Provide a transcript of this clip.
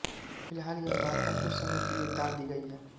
फ़िलहाल यह वार्ता कुछ समय के लिये टाल दी गई है